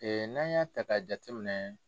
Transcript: n'a y'a ta ka jateminɛ.